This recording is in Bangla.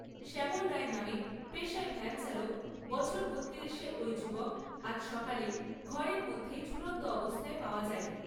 শ্যামল রায় নামে পেশায় ভ্যানচালক, বছর বত্তিরিশের ঐ যুবককে আজ সকালে ঘরের মধ্যেই ঝুলন্ত অবস্থায় পাওয়া যায়।